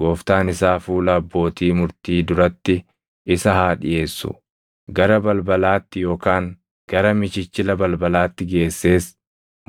gooftaan isaa fuula abbootii murtii duratti isa haa dhiʼeessu; gara balbalaatti yookaan gara michichila balbalaatti geessees